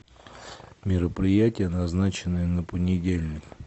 мероприятия назначенные на понедельник